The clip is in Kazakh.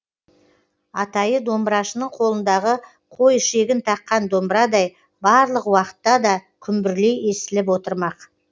атайы домбырашының қолындағы қой ішегін таққан домбырадай барлық уақытта да күмбірлей естіліп отырмақ